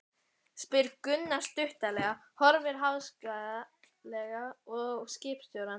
spyr Gunnar stuttaralega, horfir háðslega á skipstjórann.